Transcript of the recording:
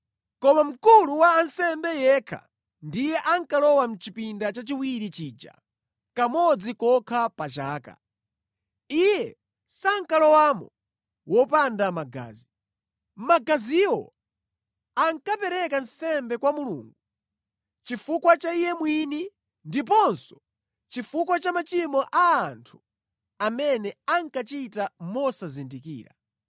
Koma Mkulu wa ansembe yekha ndiye ankalowa chipinda chachiwiri chija kamodzi kokha pa chaka. Iye sankalowamo wopanda magazi. Magaziwo ankapereka nsembe kwa Mulungu chifukwa cha iye mwini ndiponso chifukwa cha machimo a anthu amene ankachita mosazindikira.